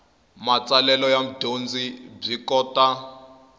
matsalelo ya mudyondzi byi kota